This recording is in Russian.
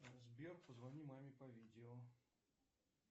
сбер позвони маме по видео